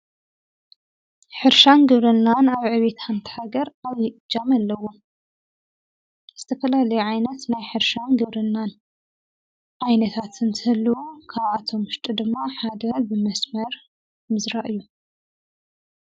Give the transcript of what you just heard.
ኅርሻን ግብርናን ኣብ ዕቤታ ሓንቲ ሃገር ኣጃም ኣለውን ዝተፈላሊ ዓይነት ናይ ኅርሻን ግብርናን ኣይነታትን ትል ካብዓቶም ውሽጡ ድማ ሓደ ብመስመር ምዝራእ እዩ።